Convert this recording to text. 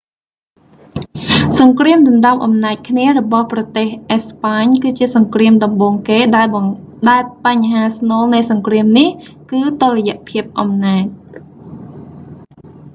សង្គ្រាមដណ្តើមអំណាចគ្នារបស់ប្រទេសអេស្ប៉ាញ គឺជាសង្គ្រាមដំបូងគេ ដែលបញ្ហាស្នូលនៃសង្គ្រាមនេះ គឺតុល្យភាពអំណាច